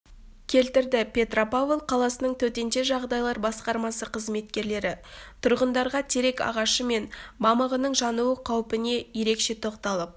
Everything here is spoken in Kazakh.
келтірді петропавл қаласының төтенше жағдайлар басқармасы қызметкерлері тұрғындарға терек ағашы мамығының жануы қаупіне ерекше тоқталып